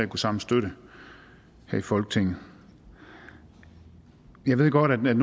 kunne samle støtte her i folketinget jeg ved godt at man